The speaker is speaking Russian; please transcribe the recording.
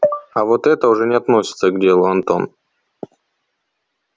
а вот это уже не относится к делу антон